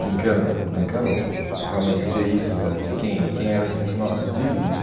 Brincando, ou brincando, realmente ter isso da de quem quem eram esses nossos ídolos.